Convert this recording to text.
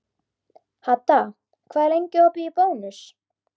Hadda, hvað er lengi opið í Bónus?